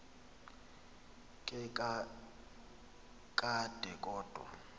ke kakade kodwa